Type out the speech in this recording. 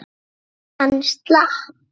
Hann slapp.